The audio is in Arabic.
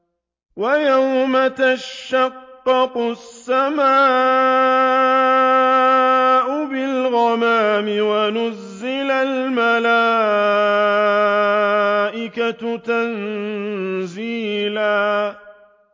وَيَوْمَ تَشَقَّقُ السَّمَاءُ بِالْغَمَامِ وَنُزِّلَ الْمَلَائِكَةُ تَنزِيلًا